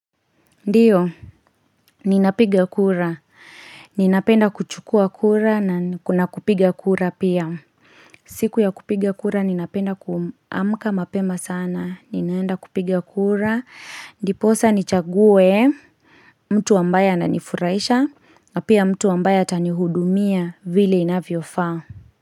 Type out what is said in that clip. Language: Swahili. Ndiyo, ninapiga kura. Ninapenda kuchukua kura na kuna kupiga kura pia. Siku ya kupiga kura ninapenda kuamka mapema sana. Ninaenda kupiga kura. Ndiposa nichague mtu ambaye ananifurahisha na pia mtu ambaye atanihudumia vile inavyofaa.